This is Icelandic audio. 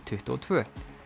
tuttugu og tvö